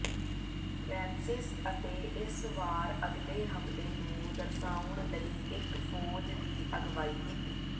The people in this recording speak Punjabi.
ਰੈਮਸਿਸ ਅਤੇ ਇਸ ਵਾਰ ਅਗਲੇ ਹਮਲੇ ਨੂੰ ਦਰਸਾਉਣ ਲਈ ਇੱਕ ਫੌਜ ਦੀ ਅਗਵਾਈ ਕੀਤੀ